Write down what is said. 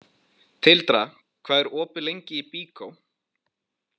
Tildra, hvað er opið lengi í Byko?